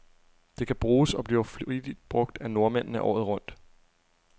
Det kan bruges, og bliver flittigt brug af nordmændene, året rundt.